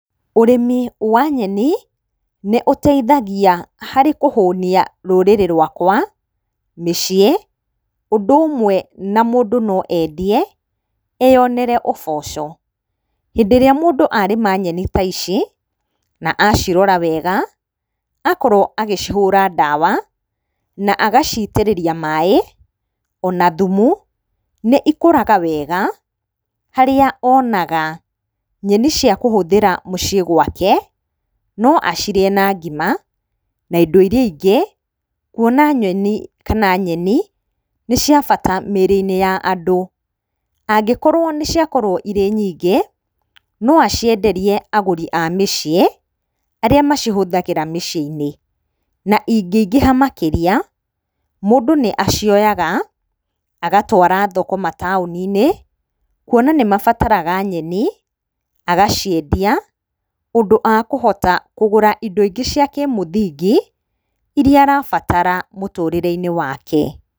Ũrĩmi wa nyeni, nĩ ũteithagia harĩ kũhũnia rũrĩrĩ rwakwa, mĩciĩ, ũndũ ũmwe na mũndũ no endie, eyonere ũboco. Hĩndĩ ĩrĩa mũndũ arĩma nyeni ta ici na acirora wega, akorwo agĩcihũra ndawa, na agaciitĩrĩra maaĩ, ona thumu, nĩ ikũraga wega, harĩa onaga nyeni cia kũhũthĩra mũciĩ gwake, no acirĩe na ngima, na indo iria ingĩ kuona nyoni kana nyeni nĩ cia bata mĩĩrĩ-inĩ. Angĩkorwo nĩ ciakorwo irĩ nyingĩ, no acienderie agũri a mĩciĩ, arĩa macihũthagĩra mĩciĩ-inĩ, na ingĩingĩha makĩria, mũndũ nĩ acioyaga agatwara thoko mataũni-inĩ, kuona nĩ mabataraga nyeni, agaciendia ũndũ akũhota kũgũra indo ingĩ cia kĩmũthingi iria arabatara mũtũrĩre-inĩ wake.